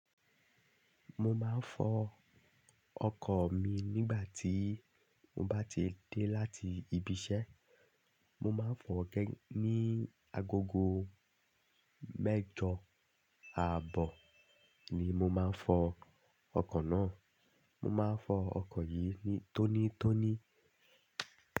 Mo máa ń fọ ọkọ̀ mi nígbà tí mo bá ti dé láti ibi iṣẹ́. Mo máa ń fọ ní agogo mẹ́jọ àbọ̀ ni mo máa ń fọ ọkọ̀ náà. Mo máa ń fọ ọkọ̀ yìí tónítóní.